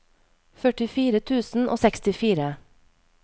førtifire tusen og sekstifire